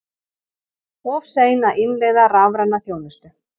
Of sein að innleiða rafræna þjónustu